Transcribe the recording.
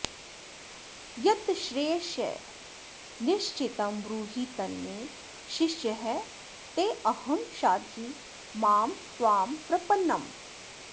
यच्छ्रेयस्यान्निश्चितं ब्रूहि तन्मे शिष्यस्तेऽहं शाधि मां त्वां प्रपन्नम्